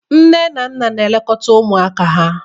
Nne na nna na-elekọta ụmụaka ha